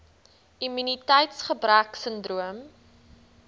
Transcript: immuniteits gebrek sindroom